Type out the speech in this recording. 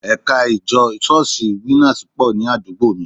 Ẹ̀ka ìjọ Ṣọ́ọ̀ṣì Winners pọ̀ ní àdúgbò mi